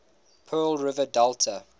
pearl river delta